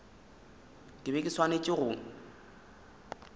ke be ke swanetše go